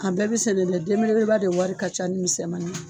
A bɛɛ be sɛnɛ dɛ denbelebeleba de wari ka ca ni misɛnmani ye